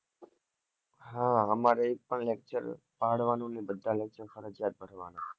હા અમારે પણ એક lecture પાડવાનું ની બધા lecture ફરિજયાત ભરવાના